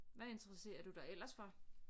Hvad interesserer du dig ellers for